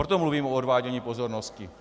Proto mluvím o odvádění pozornosti.